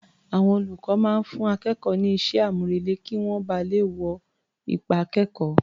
Àwọn olùkọ́ máa ń fún akẹ́kọ̀ọ́ ní iṣẹ́-àmúrelé kí wọ́n ba lè wo ipa akẹ́kọ̀ọ́.